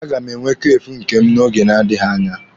A ga m enwe Kafee nke m n'oge na-adịghi anya.